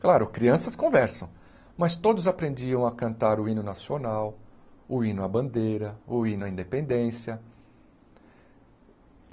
Claro, crianças conversam, mas todos aprendiam a cantar o hino nacional, o hino à bandeira, o hino à independência.